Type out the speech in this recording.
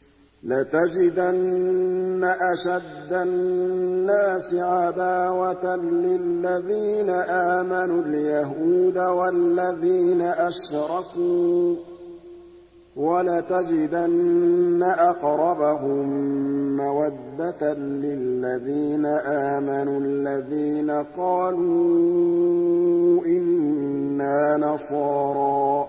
۞ لَتَجِدَنَّ أَشَدَّ النَّاسِ عَدَاوَةً لِّلَّذِينَ آمَنُوا الْيَهُودَ وَالَّذِينَ أَشْرَكُوا ۖ وَلَتَجِدَنَّ أَقْرَبَهُم مَّوَدَّةً لِّلَّذِينَ آمَنُوا الَّذِينَ قَالُوا إِنَّا نَصَارَىٰ ۚ